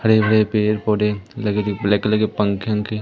हरे-भरे पेड़-पौधे लगे। ब्लैक कलर पंखे वन्खे--